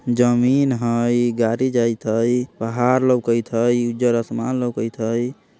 जमीन हई गाड़ी जाइत हई पहाड़ लौकएत हई उज्जर आसमान लोकएत हई।